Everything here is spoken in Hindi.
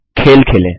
अब खेल खेलें